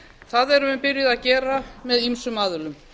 það erum við byrjuð að gera með ýmsum aðilum